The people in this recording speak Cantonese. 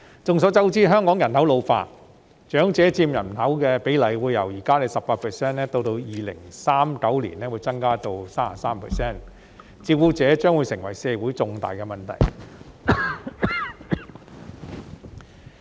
眾所周知，香港人口老化，長者佔人口比例會由現時的 18% 增加至2039年的 33%， 照顧長者將會成為社會的重大問題。